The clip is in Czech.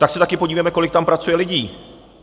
Tak se taky podívejme, kolik tam pracuje lidí.